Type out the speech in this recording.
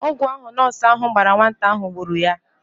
Ọgwụ ahụ nọọsụ ahụ gbara nwata ahụ gburu ya.